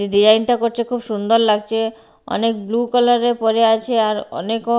যে ডিজাইন টা করছে খুব সুন্দর লাগছে অনেক বুলু কালারের পরে আছে আর অনেক ও--